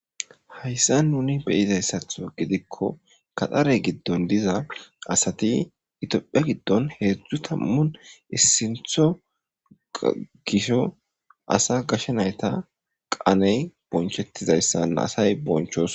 Hayssan nuni be'izayssatho giidikko gaxxare giidon diiza assti ittophphiya giidon heezhzhu tammune issintho giizo asa gashe naytta qaaney bonchetizayssa assa bonchchosona.